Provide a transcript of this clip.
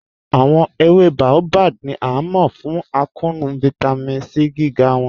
Awọn èwé Baobab ni a mọ fún àkọọ̀nù Vitamin C gígá wọn.